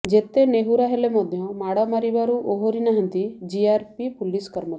ଯେତେ ନେହୁରା ହେଲେ ମଧ୍ୟ ମାଡ ମାରିବାରୁ ଓହରିନାହାନ୍ତି ଜିଆରପି ପୁଲିସ କର୍ମଚାରୀ